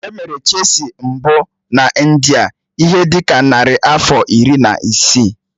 Emere Chesị mbụ na India ihe dị ka narị afọ iri na isii.